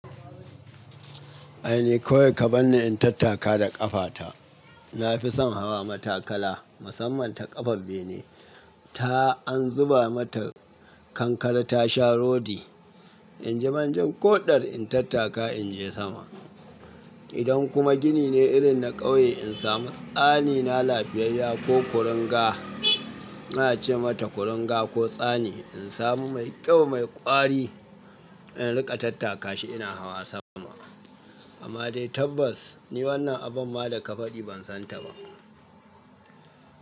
Ai ni kawai ka bani in tattaka da ƙafata. Na fi son hawa matakala. Musamman ta ƙafa bene. Ta an zuba mata kankare ta sha rodi. In ji man jin koɗar in tattaka in je sama. Idan kuma gini ne irin na ƙauye in samu tsani na lafiyayya ko kuringa. Na ce mata kuringa ko tsani in samu mai ƙyau mai ƙwari in riƙa tattaka shi ina hawa sama. Amma dai tabbas ni wannan abun ma da ka faɗi ban san ta ba.